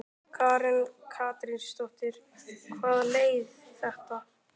Karen Kjartansdóttir: Hvaða leið?